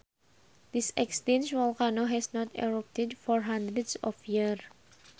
This extinct volcano has not erupted for hundreds of years